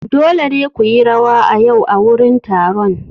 Dole ne ku yi rawa a yau a wurin taron!